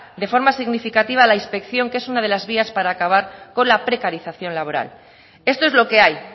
de forma significativa la inspección que es una de la vías para acabar con la precarización laboral esto es lo que hay